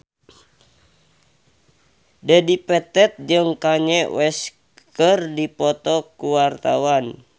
Dedi Petet jeung Kanye West keur dipoto ku wartawan